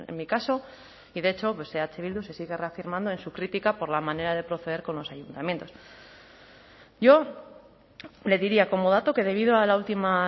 mi caso y de hecho eh bildu se sigue reafirmando en su crítica por la manera de proceder con los ayuntamientos yo le diría como dato que debido a la última